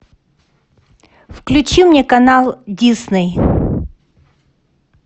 включи мне канал дисней